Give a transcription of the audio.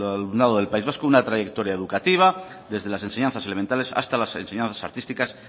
al alumnado del país vasco una trayectoria educativa desde las enseñanzas elementales hasta las enseñanzas artísticas